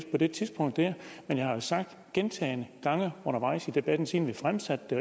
på det tidspunkt men jeg har jo sagt gentagne gange undervejs i debatten siden vi fremsatte